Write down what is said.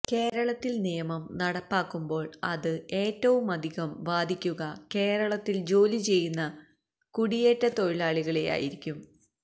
കേരളത്തിൽ നിയമം നടപ്പാക്കുമ്പോള് അത് ഏറ്റവുമധികം ബാധിക്കുക കേരളത്തിൽ ജോലി ചെയ്യുന്ന കുടിയേറ്റ തൊഴിലാളികളെയായിരിക്കും